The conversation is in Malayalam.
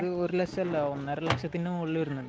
പുതിയത് ഒരു ലക്ഷം അല്ല, ഒന്നര ലക്ഷത്തിനു മുകളിൽ വരുന്നുണ്ട്.